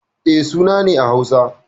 E, suna ne a Hausa.